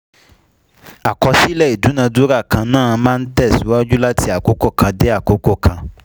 Àkọsílẹ̀ ìdúnadúrà kan náà máa ń tẹ̀síwájú láti àkókò kan dé àkókò kan.